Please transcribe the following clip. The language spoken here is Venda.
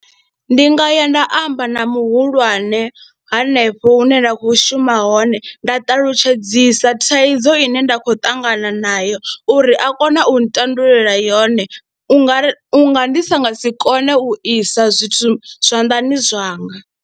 Ndi nga ya nda amba na muhulwane hanefho hune nda khou shuma hone nda ṱalutshedzisa thaidzo ine nda khou ṱangana nayo uri a kone u ntandulula yone u nga ri, u nga ndi sa nga si kone u isa zwithu zwanḓani zwanga.